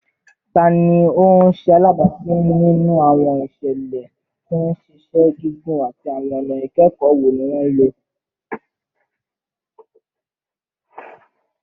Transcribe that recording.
Tani o ṣe alabapin ninu awọn iṣẹlẹ ti nṣiṣẹ gigun, ati awọn ọna ikẹkọ wo ni wọn lo?